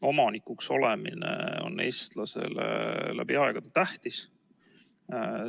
Omanikuks olemine on eestlasele läbi aegade tähtis olnud.